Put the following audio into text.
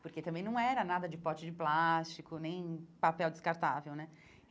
porque também não era nada de pote de plástico, nem papel descartável, né?